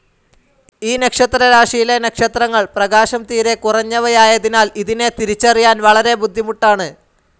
ഈ നക്ഷത്രരാശിയിലെ നക്ഷത്രങ്ങൾ പ്രീകാശം തീരെക്കുറഞ്ഞവയായതിനാൽ ഇതിനെ തിരിച്ചറിയാൻ വളരെ ബുദ്ധിമുട്ടാണ്.